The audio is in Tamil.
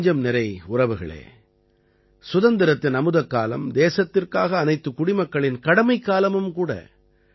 என் நெஞ்சம்நிறை உறவுகளே சுதந்திரத்தின் அமுதக்காலம் தேசத்திற்காக அனைத்துக் குடிமக்களின் கடமைக்காலமும் கூட